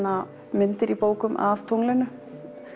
myndir í bókum af tunglinu